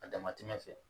A damatɛmɛ fɛ